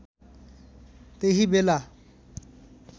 त्यही बेला